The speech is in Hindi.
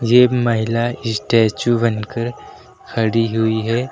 ये महिला स्टैचू बनकर खड़ी हुई है।